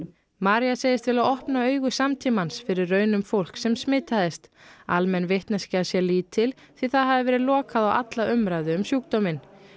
María segist vilja opna augu samtímans fyrir raunum fólks sem smitaðist almenn vitneskja sé lítil því það hafi verið lokað á alla umræðu um sjúkdóminn